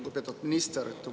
Lugupeetud minister!